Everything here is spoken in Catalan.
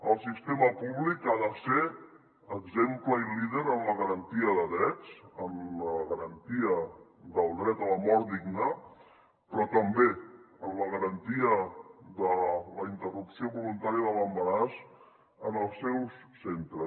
el sistema públic ha de ser exemple i líder en la garantia de drets en la garantia del dret a la mort digna però també en la garantia de la interrupció voluntària de l’embaràs en els seus centres